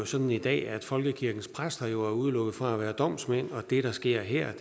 sådan i dag at folkekirkens præster er udelukket fra at være domsmænd og det der sker her